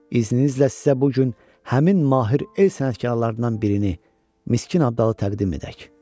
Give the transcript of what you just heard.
İzninizlə sizə bu gün həmin mahir el sənətkarlarından birini Miskin Abdalı təqdim edək.